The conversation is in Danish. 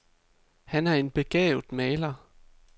Han er en begavet maler.